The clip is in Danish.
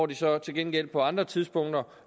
de så til gengæld på andre tidspunkter